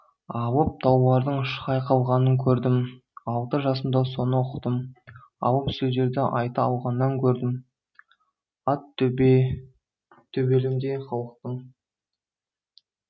алып таулардың шайқалғанын көрдім алты жасымда соны ұқтым иалып сөздерді айта алғанын көрдім ат төбеліндей халықтың